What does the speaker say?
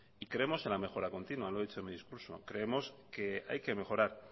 y creemos en la mejora continua lo he dicho en mi discurso creemos que hay que mejorar